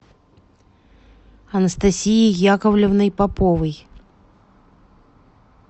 анастасией яковлевной поповой